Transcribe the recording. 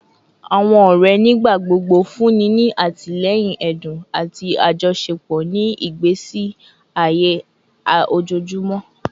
Awọn ọrẹ nigbagbogbo funni ni atilẹyin ẹdun ati ajọṣepọ ni igbesi aye ojoojumọ